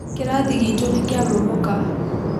Kĩrathi gitũ nĩkĩamomoka.